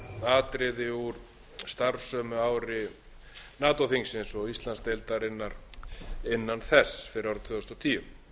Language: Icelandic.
atriði úr starfsári nato þingsins og íslandsdeildarinnar innan þess fyrir árið tvö þúsund og tíu